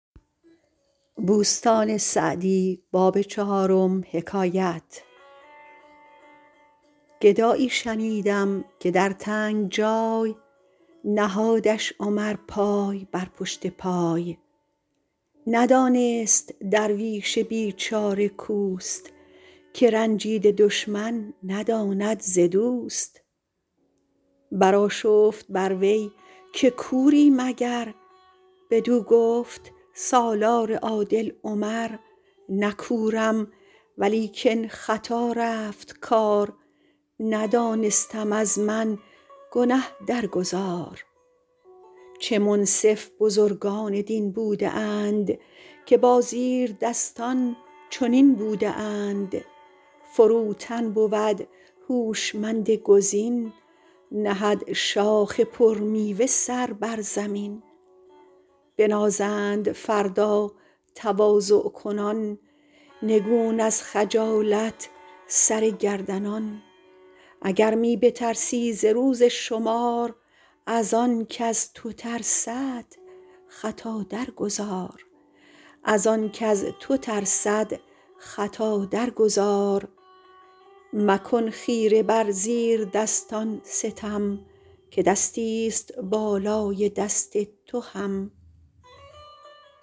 گدایی شنیدم که در تنگ جای نهادش عمر پای بر پشت پای ندانست درویش بیچاره کاوست که رنجیده دشمن نداند ز دوست برآشفت بر وی که کوری مگر بدو گفت سالار عادل عمر نه کورم ولیکن خطا رفت کار ندانستم از من گنه در گذار چه منصف بزرگان دین بوده اند که با زیردستان چنین بوده اند فروتن بود هوشمند گزین نهد شاخ پر میوه سر بر زمین بنازند فردا تواضع کنان نگون از خجالت سر گردنان اگر می بترسی ز روز شمار از آن کز تو ترسد خطا در گذار مکن خیره بر زیر دستان ستم که دستی است بالای دست تو هم